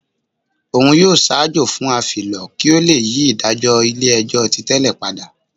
Òun yóò ṣaajọ fún afilọ ki o le yi idajọ ilé-ẹjọ́ tí tẹlè pada.